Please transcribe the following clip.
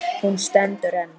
Hún stendur enn.